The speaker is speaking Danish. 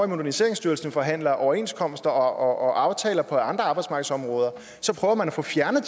moderniseringsstyrelsen forhandler overenskomster og aftaler på andre arbejdsmarkedsområder prøver man at få fjernet